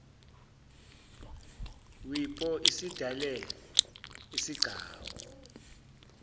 wipo isidale isigcawu